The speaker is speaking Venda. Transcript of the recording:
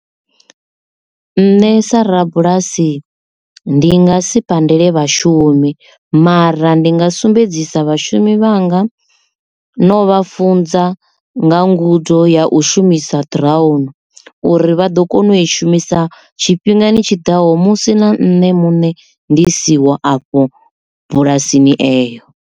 Nṋe sa rabulasi ndi nga si pandele vhashumi mara ndi nga sumbedzisa vhashumi vhanga na u vha funza nga ngudo ya u shumisa drawn uri vha ḓo kona u i shumisa tshifhingani tshiḓaho musi na nṋe muṋe ndi siho afho bulasini eyo.